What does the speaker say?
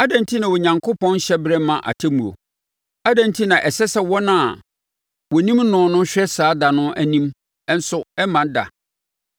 “Adɛn enti na Onyankopɔn nhyɛ berɛ mma atemmuo? Adɛn enti na ɛsɛ sɛ wɔn a wɔnim noɔ no hwɛ saa da no anim ɛnso ɛmma da?